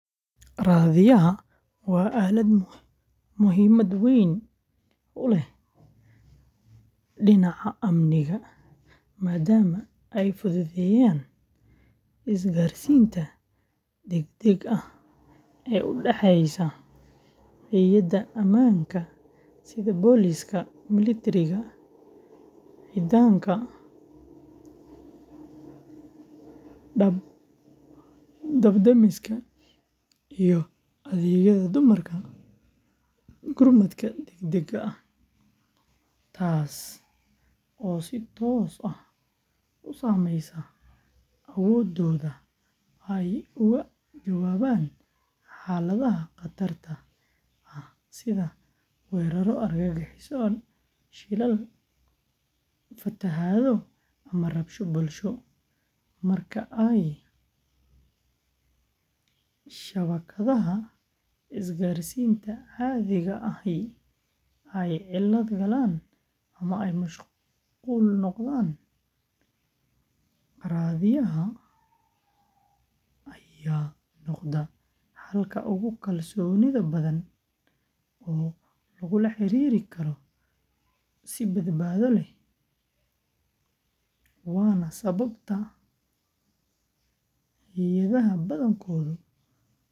Raadiyaha waa aalad muhiimad weyn u leh dhinaca amniga, maadaama ay fududeeyaan isgaarsiinta degdega ah ee u dhexeysa hay’adaha ammaanka sida booliiska, militariga, ciidanka dab-demiska, iyo adeegyada gurmadka degdegga ah, taas oo si toos ah u saameysa awooddooda ay uga jawaabaan xaaladaha khatarta ah sida weerarro argagixiso, shilal, fatahaado, ama rabshado bulsho; marka ay shabakadaha isgaarsiinta caadiga ahi ay cilad galaan ama ay mashquul noqdaan, raadiyaha ayaa noqda xalka ugu kalsoonida badan oo lagula xiriiri karo si badbaado leh, waana sababta hay’adaha badankoodu u adeegsadaan raadiyaha.